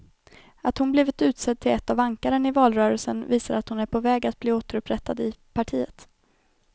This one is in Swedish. Att hon blivit utsedd till ett av ankaren i valrörelsen visar att hon är på väg att bli återupprättad i partiet.